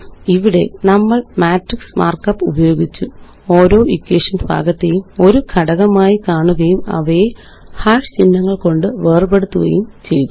ഇവിടെ നമ്മള് matrix markup ഉപയോഗിച്ചു ഓരോ ഇക്വേഷന് ഭാഗത്തെയും ഒരു ഘടകമായി കാണുകയും അവയെ ചിഹ്നങ്ങള് കൊണ്ട് വേര്പെടുത്തുകയും ചെയ്തു